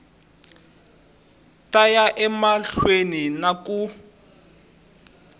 ta ya emahlweni na ku